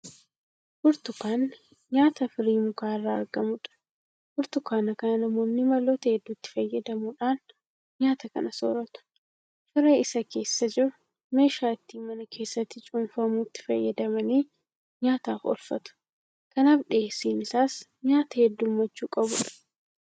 Burtukaanni nyaata firii mukaa irraa argamudha. Burtukaana kana namoonni maloota hedduutti fayyadamuudhaan nyaata kana soorratu. Firee isa keessa jiru meeshaa ittiin mana keessatti cuunfamuutti fayyadamanii nyaataaf oolfatu. Kanaaf dhiyeessiin isaas nyaata heddummachuu qabudha.